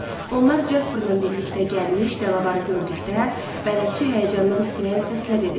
Onlar Jasperla birlikdə gəlmiş Delavarı gördükdə, bələdçi həyəcandan titrəyən səslə dedi: